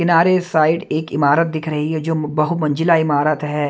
किनारे साइड एक इमारत दिख रही है जो बहु मंजिला इमारत है।